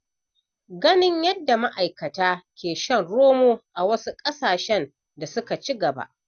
Ganin yadda ma'aikata ke shan romo a wasu ƙasashe da suka ci gaba.